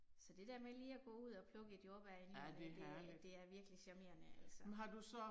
Så det der med lige at gå ud og plukke et jordbær i ny og næ det er det er virkelig charmerende altså